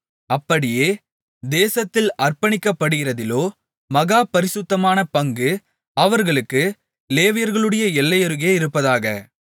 அப்படியே தேசத்தில் அர்ப்பணிக்கப்படுகிறதிலோ மகா பரிசுத்தமான பங்கு அவர்களுக்கு லேவியருடைய எல்லையருகே இருப்பதாக